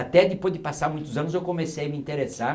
Até depois de passar muitos anos, eu comecei a me interessar